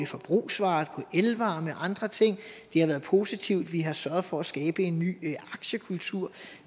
forbrugsvarer på elvarer og andre ting det har været positivt vi har sørget for at skabe en ny aktiekultur